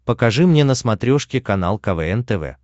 покажи мне на смотрешке канал квн тв